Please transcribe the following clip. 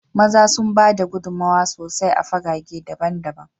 maza sun ba da gudummawa sosai a fagage daban-daban